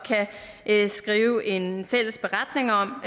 kan skrive en fælles beretning om